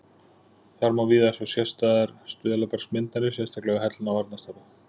Þar má víða sjá sérstæðar stuðlabergsmyndanir, sérstaklega við Hellna og Arnarstapa.